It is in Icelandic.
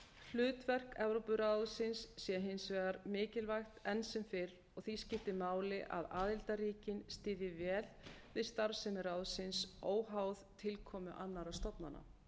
hlutverk evrópuráðsins sé hins vegar mikilvægt enn sem fyrr og því skipti máli að aðildarríkin styðji vel við starfsemi ráðsins óháð tilkomu annarra stofnana